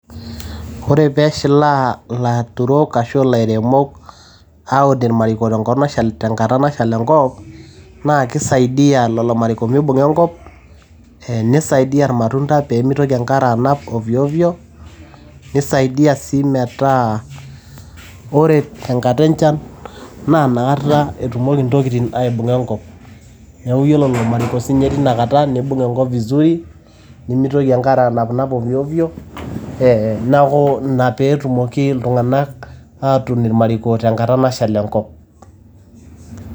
ore pee eshilaa ilaturok ashu ilairemok aun imariko tenkata nashal enkop ,naa kisaidia lelo mariko mibung'a enkop, nisadia imatunda mibung'a enkop nisaidia imatunda pee mitoki enkare anap ovyo ovyo, nisaidia sii metaa ore tangata enchan naa inaka etumoki intokitin aibung'a enkop neku ore siininye ilomariko netumoki aibung'a enkop vizuri, neeku ina pee etumoki iltung'anak aatun ormariko tenkata nashal enkop.